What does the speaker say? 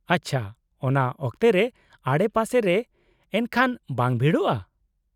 -ᱟᱪᱪᱷᱟ, ᱚᱱᱟ ᱚᱠᱛᱮ ᱨᱮ ᱟᱰᱮᱯᱟᱥᱮ ᱨᱮ ᱮᱱᱠᱷᱟᱱ ᱵᱟᱝ ᱵᱷᱤᱲᱚᱜᱼᱟ ?